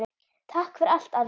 Takk fyrir allt, afi.